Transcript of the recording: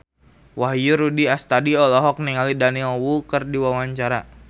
Wahyu Rudi Astadi olohok ningali Daniel Wu keur diwawancara